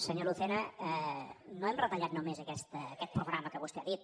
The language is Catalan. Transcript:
senyor lucena no hem retallat només aquest programa que vostè ha dit